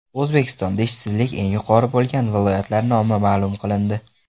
O‘zbekistonda ishsizlik eng yuqori bo‘lgan viloyatlar nomi ma’lum qilindi.